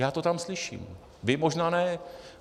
Já to tam slyším, vy možná ne.